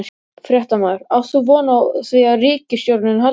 Fréttamaður: Átt þú von á því að ríkisstjórnin haldi?